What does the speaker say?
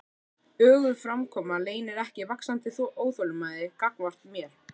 Öguð framkoma leynir ekki vaxandi óþolinmæði gagnvart mér.